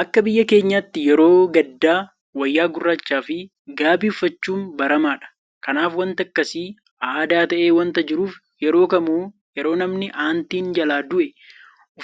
Akka biyya keenyaatti yeroo gaddaa wayyaa gurraachaafi gaabii uffachuun baramaadha. Kanaaf waanti akkasii aadaa ta'ee waanta jiruuf yeroo kamuu yeroo namni aantiin jalaa du'e